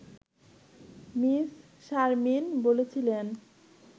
miss Sharmin বলছিলেন